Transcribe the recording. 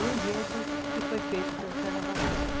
O enredo que foi feito pelo carnavalesco.